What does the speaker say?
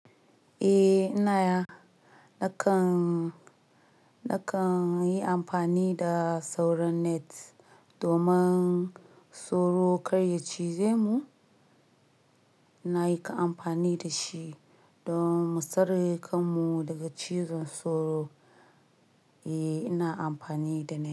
Eh, ina nakan, nakan yi amfani da sauran net domin sauro karya cize mu. Na yi ka amfani da shi domin mu tsare kan mu daga cizon sauro. Eh, ina amfani da net.